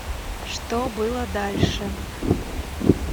что было дальше